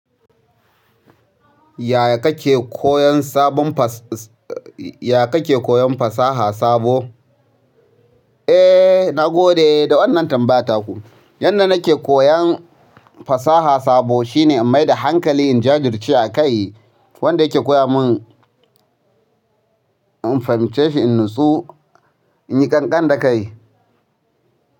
Ya kake koyan fasaha sabo? Eh na gode da wannan tambayar taku. Yadda nake koyan fasaha sabo shine in mai da hankali in jajirce a kai, wanda yake koya mun in fahimce shi in nutsu, inyi ƙanƙan da kai.